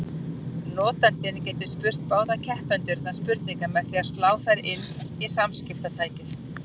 Notandinn getur spurt báða keppendurna spurninga með því að slá þær inn í samskiptatækið.